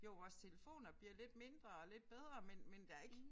Jo vores telefoner bliver lidt mindre og lidt bedre men men der ikke